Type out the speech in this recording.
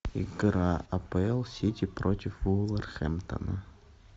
игра апл сити против вулверхэмптона